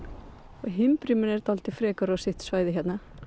og himbriminn er dálítið frekur á sitt svæði hérna